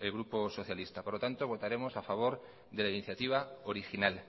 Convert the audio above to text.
el grupo socialista por lo tanto votaremos a favor de la iniciativa original